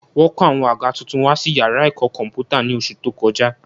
Wọ́n kó àwọn àga tuntun wá sí yàrá ẹ̀kọ́ kọ̀m̀pútà ní oṣù tó kọjá